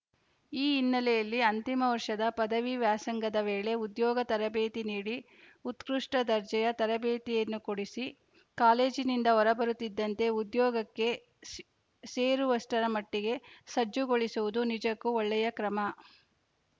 ಈ ಹಿನ್ನೆಲೆಯಲ್ಲಿ ಅಂತಿಮ ವರ್ಷದ ಪದವಿ ವ್ಯಾಸಂಗದ ವೇಳೆ ಉದ್ಯೋಗ ತರಬೇತಿ ನೀಡಿ ಉತ್ಕೃಷ್ಟದರ್ಜೆಯ ತರಬೇತಿಯನ್ನು ಕೊಡಿಸಿ ಕಾಲೇಜಿನಿಂದ ಹೊರಬರುತ್ತಿದ್ದಂತೆ ಉದ್ಯೊಗಕ್ಕೆ ಸೇ ಸೇರುವಷ್ಟರ ಮಟ್ಟಿಗೆ ಸಜ್ಜುಗೊಳಿಸುವುದು ನಿಜಕ್ಕೂ ಒಳ್ಳೆಯ ಕ್ರಮ